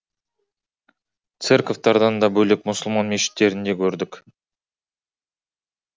церковтардан да бөлек мұсылман мешіттерінде көрдік